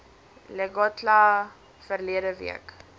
lekgotla verlede week